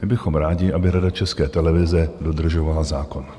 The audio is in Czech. My bychom rádi, aby Rada České televize dodržovala zákon.